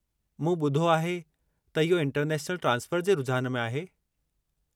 मूं ॿुधो आहे त इहो इंटरनेशनल ट्रांसफ़र जे रुझान में आहे?